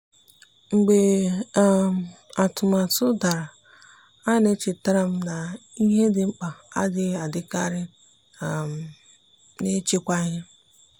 mgbe um atụmatụ dara a na-echetara m na ihe dị mkpa adịghị adịkarị um n’ịchịkwa ihe.